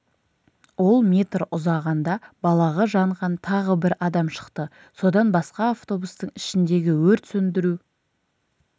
ол метр ұзағанда балағы жанған тағы бір адам шықты содан басқа автобустың ішіндегі өрт сөндіру